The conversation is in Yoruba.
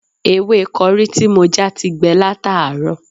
Ewé kọrí tí mo já ti gbẹ látàárọ̀